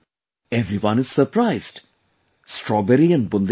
Everyone is surprised Strawberry and Bundelkhand